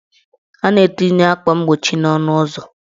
A na-etinye akwa mgbochi n' ọnụụzọ.